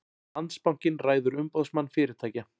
Landsbankinn ræður Umboðsmann fyrirtækja